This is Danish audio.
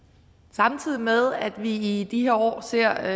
samtidig med at vi i de her år ser